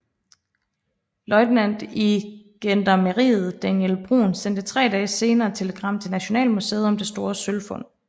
Løjtnant i gendarmeriet Daniel Bruun sendte tre dage senere et telegram til Nationalmuseet om det store sølvfund